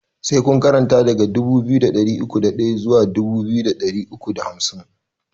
Sai kun karanta daga dubu biyu da ɗari uku da ɗaya zuwa dubu biyu da ɗari uku da hamsin!